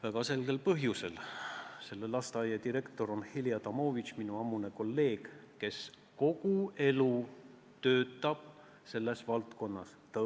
Väga selgel põhjusel: selle lasteaia direktor on Heli Adamovitš, minu ammune kolleeg, kes kogu elu on selles valdkonnas töötanud.